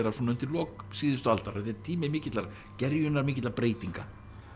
undir lok síðustu aldar þetta er tími mikillar gerjunar mikilla breytinga